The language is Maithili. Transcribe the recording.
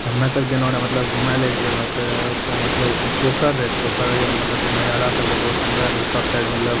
ते हम्में सब गेलो रहे मतलब घूमे ले एक जगह ते ओते मतलब पोखर रहे पोखर मतलब नजारा सब रहे बहुत सुंदर रहे सब साइड मतलब --